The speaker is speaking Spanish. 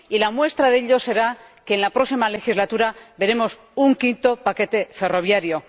Y la muestra de ello será que en la próxima legislatura veremos un quinto paquete ferroviario.